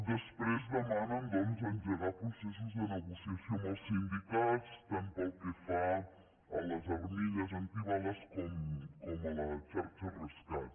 després demanen doncs engegar processos de negociació amb els sindicats tant pel que fa a les armilles antibales com a la xarxa rescat